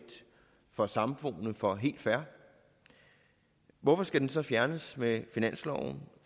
for samboende for helt fair hvorfor skal den så fjernes med finansloven